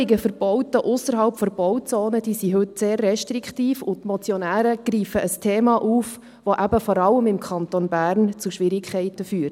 Die Regelungen für Bauten ausserhalb der Bauzone sind heute sehr restriktiv, und die Motionäre greifen ein Thema auf, das eben vor allem im Kanton Bern zu Schwierigkeiten führt.